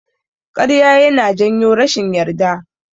Ƙarya yana janyo rashin yarda.